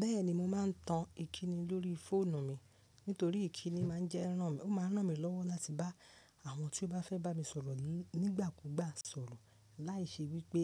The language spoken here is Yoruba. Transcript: Bẹ́ẹ̀ni mo má a n tan ikini lori foonu mi nitori ikini ma n je ran, o ma ran mi lowo lati ba àwọn tí o ba fẹ bá mi sọ̀rọ̀ nigbakugba sọ̀rọ̀ laisi wipe